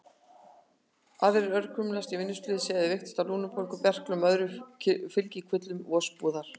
Aðrir örkumluðust í vinnuslysum eða veiktust af lungnabólgu, berklum og öðrum fylgikvillum vosbúðar.